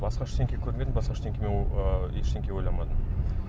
басқа ештеңе көрмедім басқа ештеңе мен ыыы ештеңе ойламадым